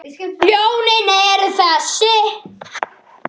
Lónin eru þessi